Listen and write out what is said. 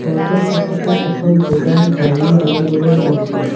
ঘৰটোৰ কাষতে এখন বগা গাড়ীও দেখিবলৈ পাইছোঁ।